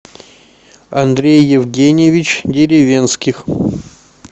андрей евгеньевич деревенских